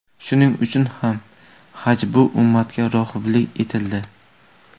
Shuning uchun ham haj bu ummatga rohiblik etildi.